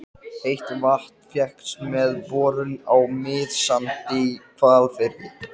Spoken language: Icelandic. Kannski hefur óyndið í skammdeginu um jólin haft þarna úrslitaáhrif.